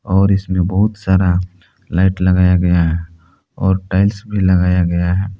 और इसमें बहुत सारा लाइट लगाया गया है और टाइल्स भी लगाया गया है।